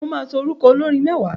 Mo máa sọ orúkọ olórin mẹ́wàá